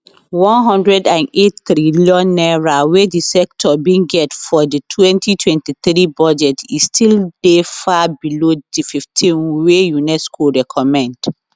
n108 trillion wey di sector bin get for di 2023 budget e still dey far below di 15 wey unesco recommend